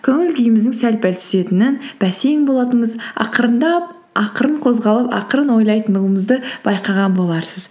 көңіл күйіміздің сәл пәл түсетінін бәсең болатынымыз ақырындап ақырын қозғалып ақырын ойлайтындығымызды байқаған боларсыз